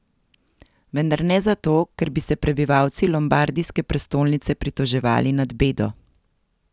Vendar ne zato, ker bi se prebivalci lombardijske prestolnice pritoževali nad bedo.